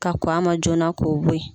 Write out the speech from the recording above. Ka kɔn a ma joona k'o bo yen